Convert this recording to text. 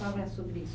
Fala sobre isso